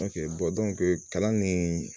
kalan nin